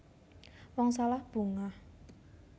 Wong salah bungah